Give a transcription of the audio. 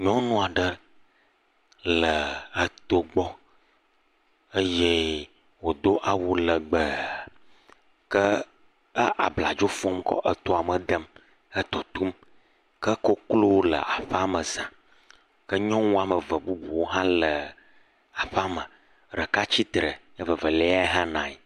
Nyɔnu aɖe le eto gbɔ eye wodo awu legbe ke e abladzo fɔm kɔ etoa me dem hetotom. Ke Koklowo le aƒea me za. Ke nyɔnu wɔme eve bubuwo hã le aƒea me. Ɖeka tsite evevelia hã nɔ anyi.